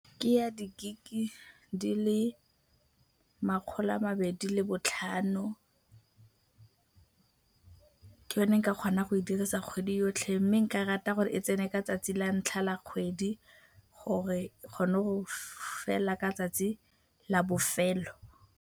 Ke ya di-gig-e di le makgolo a mabedi le botlhano. Ke yone ke ka kgonang go e dirisa kgwedi yotlhe mme nka rata gore e tsene ka 'tsatsi la ntlha la kgwedi gore e kgone go fela ka 'tsatsi la bofelo.